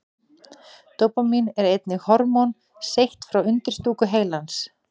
Dópamín er einnig hormón seytt frá undirstúku heilans.